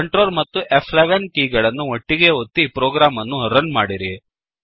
control ಮತ್ತು ಫ್11 ಕೀಲಿಗಳನ್ನು ಒಟ್ಟಿಗೇ ಒತ್ತಿ ಪ್ರೋಗ್ರಾಮ್ ಅನ್ನು ರನ್ ಮಾಡಿರಿ